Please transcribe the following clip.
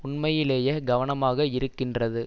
உண்மையிலேயே கவனமாக இருக்கின்றது